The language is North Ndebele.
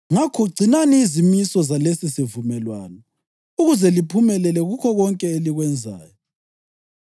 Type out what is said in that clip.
Ngakho gcinani izimiso zalesisivumelwano ukuze liphumelele kukho konke elikwenzayo.